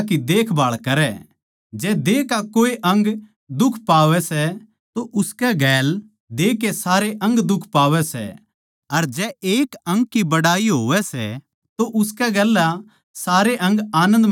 जै देह का कोए अंग दुख पावै सै तो उसकै गैल देह के सारे अंग दुख पावै सै अर जै एक अंग की बड़ाई होवै सै तो उसकै गेल्या सारे अंग आनन्द मनावै सै